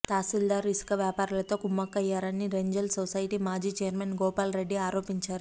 తహసీల్దార్ ఇసుక వ్యాపారులతో కుమ్ముక్కయ్యారని రెంజల్ సొసైటీ మాజీ ఛైర్మన్ గోపాల్రెడ్డి ఆరోపించారు